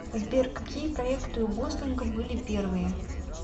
сбер какие проекты у гослинга были первые